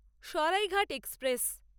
Saraighat express